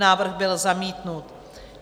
Návrh byl zamítnut.